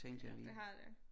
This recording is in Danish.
Ja det har det